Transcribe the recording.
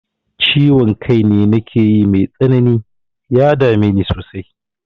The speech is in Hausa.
Ciwon kai nakeyi mai tsanani, ya dame ni sosai.